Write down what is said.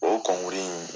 O kɔnkuru in